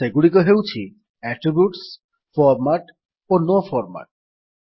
ସେଗୁଡିକ ହେଉଛି attributes format ଓ ନୋ ଫର୍ମାଟ୍